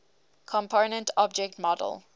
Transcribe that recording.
component object model